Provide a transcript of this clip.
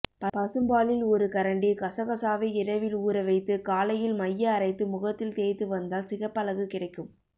பசும்பாலில் ஒரு கரண்டி கசகசாவை இரவில் ஊற வைத்து காலையில் மைய அரைத்து முகத்தில் தேய்த்து வந்தால் சிகப்பழகு கிடைக்கும்